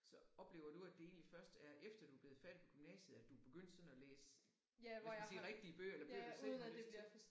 Så oplever du at det egentlig først er efter du er blevet færdig med gymnasiet at du er begyndt sådan at læse hvad skal man sige rigtige bøger eller bøger du selv har lyst til?